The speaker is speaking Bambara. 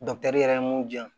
yɛrɛ ye mun di yan